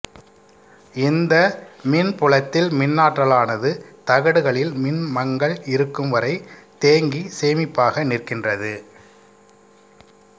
இந்த மின்புலத்தில் மின்னாற்றலானது தகடுகளில் மின்மங்கள் இருக்கும் வரை தேங்கி சேமிப்பாக நிற்கின்றது